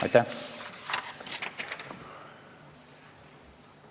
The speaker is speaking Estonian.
Aitäh!